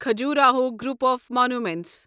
Khajuraho group of monuments